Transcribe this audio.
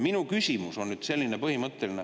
Minu küsimus on selline põhimõtteline.